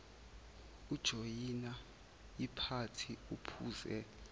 ujoyina iphathi uphuze